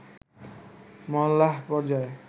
মহল্লা পর্যায়ে